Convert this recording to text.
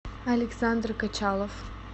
александр качалов